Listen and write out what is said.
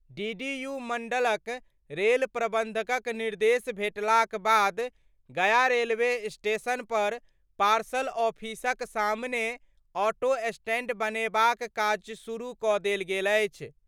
DDU मंडलक rail प्रबंधकक निर्देश भेटलाक बाद गया रेलवे स्टेशन पर पार्सल ऑफिसक सामने ऑटो स्टैंड बनेबाक काज शुरू कऽ देल गेल अछि।